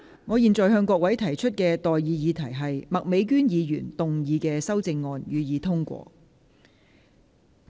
我現在向各位提出的待議議題是：麥美娟議員動議的修正案，予以通過。